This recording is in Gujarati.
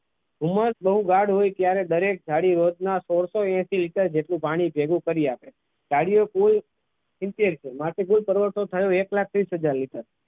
ઉંમર બહુ હોય એટલે ત્યારે રોજના સોળસો એસી લીટર જેટલું પાણી ભેગું કરી આપે જાળીઓ કુલ સિત્તેર માટે કુલ કરવટો થયો એક લાખ ત્રીસ હાજર લીટર લીધા હતા.